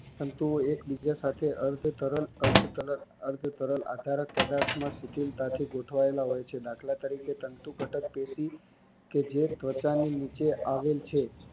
તંતુઓ એક બીજા સાથે અર્થ તરલ અર્થ તરલ અર્થ તરલ આધારક પદાર્થમાં સુકિલતાથી ગોઠવાયેલા હોય છે દાખલ તરીકે તંતુ ઘટક પેશી કે જે ત્વચાની નીચે આવેલ છે